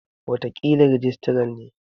Wataƙila rijistaran ne.